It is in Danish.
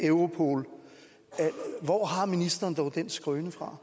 europol hvor har ministeren dog den skrøne fra